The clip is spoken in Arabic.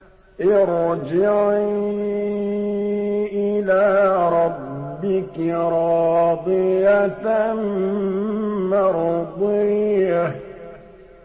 ارْجِعِي إِلَىٰ رَبِّكِ رَاضِيَةً مَّرْضِيَّةً